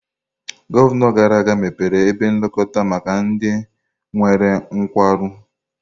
Gọvanọ gara aga mepere ebe nlekọta maka ndị nwere nkwarụ.